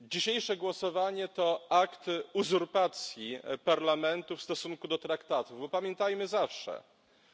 Dzisiejsze głosowanie to akt uzurpacji Parlamentu w stosunku do traktatów, bo pamiętajmy zawsze, że